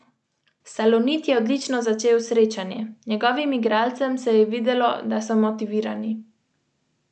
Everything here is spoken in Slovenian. Maja Draganič je zabeležila devet točk.